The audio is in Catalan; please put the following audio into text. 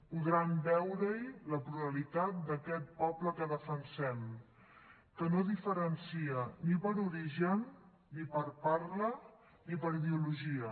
podran veure hi la pluralitat d’aquest poble que defensem que no diferencia ni per origen ni per parla ni per ideologia